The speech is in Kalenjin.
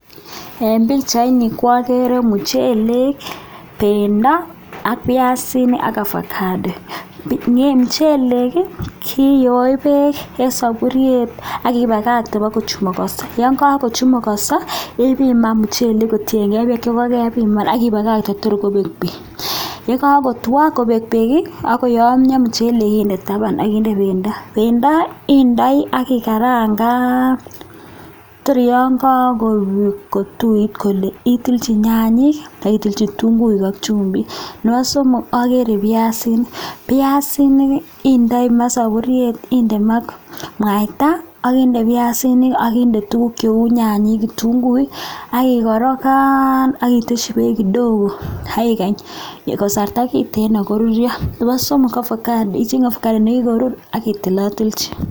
Eng Pichaini agere muchelek Pendo AK (Avocado) mchelek kiyoeee peeek kindai peeek sapuriet AK kemetoi pakochumugenso ,pa kururyo piasinik kendoi daburey kot kora akinde ovacado akitonatonchi